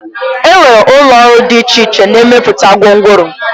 Enwere ụlọ ọrụ dị iche iche na-emepụta gwongworo